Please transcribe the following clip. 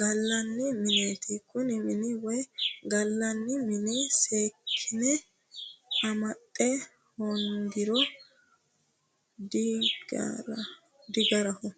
gallanni mineeti kuni minu woyi gallanni mini seekkine amaxxa hoongiro digaraho